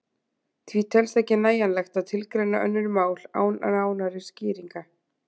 Því telst ekki nægjanlegt að tilgreina önnur mál án nánari skýringa.